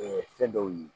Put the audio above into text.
fɛn dɔw ye